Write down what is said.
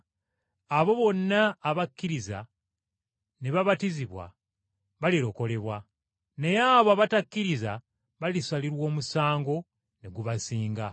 Abo bonna abakkiriza ne babatizibwa balirokolebwa, naye abo abatakkiriza balisalirwa omusango ne gubasinga.